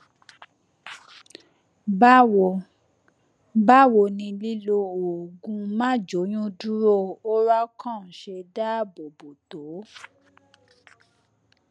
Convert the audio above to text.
báwo báwo ni lílo oògùn máàjóyúndúró oralcon ṣe dáàbò bò tó